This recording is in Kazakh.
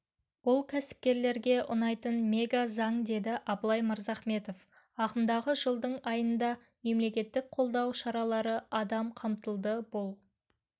бұл кәсіпкерлерге ұнайтын мега-заң деді абылай мырзахметов ағымдағы жылдың айында мемлекеттік қолдау шаралары адам қамтылды бұл